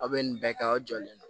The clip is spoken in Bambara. Aw bɛ nin bɛɛ kɛ aw jɔlen don